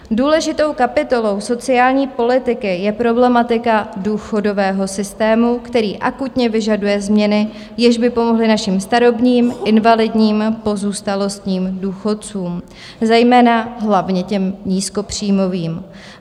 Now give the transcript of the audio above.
Důležitou kapitolou sociální politiky je problematika důchodového systému, který akutně vyžaduje změny, jež by pomohly našim starobním, invalidním, pozůstalostním důchodcům, zejména hlavně těm nízkopříjmovým.